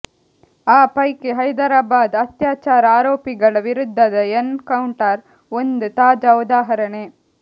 ಆ ಪೈಕಿ ಹೈದರಾಬಾದ್ ಅತ್ಯಾಚಾರ ಆರೋಪಿಗಳ ವಿರುದ್ಧದ ಎನ್ ಕೌಂಟರ್ ಒಂದು ತಾಜಾ ಉದಾಹರಣೆ